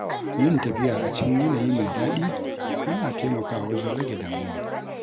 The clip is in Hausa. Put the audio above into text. Yin tafiya a cikin yanayi mai daɗi yana taimakawa wajen rage damuwa.